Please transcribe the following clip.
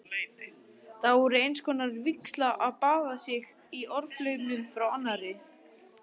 Það er einskonar vígsla að baða sig í orðaflaumnum frá arnari.